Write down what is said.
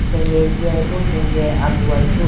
khenge jiyayi bo khenge agugayi bo.